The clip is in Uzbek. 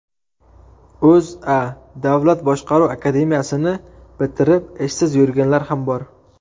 O‘zA: Davlat boshqaruv akademiyasini bitirib, ishsiz yurganlar ham bor.